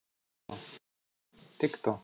ты кто